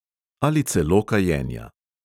Ali celo kajenja.